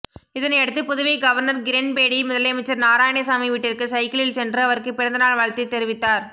இதனையடுத்து புதுவை கவர்னர் கிரண்பேடி முதலமைச்சர் நாராயணசாமி வீட்டிற்கு சைக்கிளில் சென்று அவருக்கு பிறந்த நாள் வாழ்த்து தெரிவித்தார்